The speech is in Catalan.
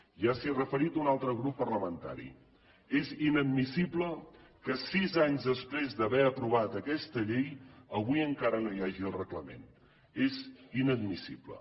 ja s’hi ha referit un altre grup parlamentari és inadmissible que sis anys després d’haver aprovat aquesta llei avui encara no hi hagi el reglament és inadmissible